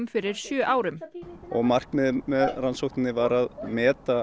fyrir sjö árum markmiðið með rannsókninni var að meta